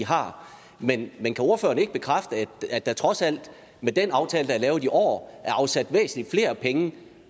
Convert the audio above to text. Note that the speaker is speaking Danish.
har men kan ordføreren ikke bekræfte at der trods alt med den aftale der er lavet i år er afsat væsentlig flere penge